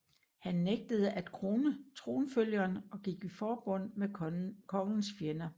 Han nægtede at krone tronfølgeren og gik i forbund med kongens fjender